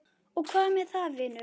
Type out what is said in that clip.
Og hvað með það, vinur?